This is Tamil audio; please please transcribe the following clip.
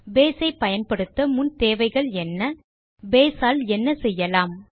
பேஸ் ஐ பயன்படுத்த முன் தேவைகள் என்ன பேஸ் ஆல் என்ன செய்யலாம்160